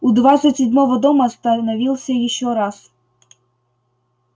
у двадцать седьмого дома остановился ещё раз